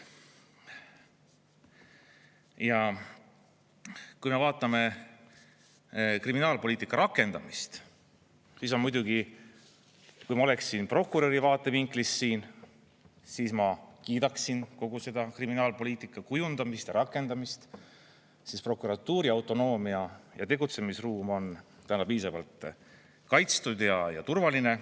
Ja kui me vaatame kriminaalpoliitika rakendamist, siis muidugi, kui ma oleksin prokuröri vaatevinklist siin, siis ma kiidaksin kogu seda kriminaalpoliitika kujundamist ja rakendamist, sest prokuratuuri autonoomia ja tegutsemisruum on täna piisavalt kaitstud ja turvaline.